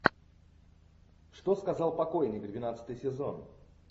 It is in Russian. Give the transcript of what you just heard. что сказал покойник двенадцатый сезон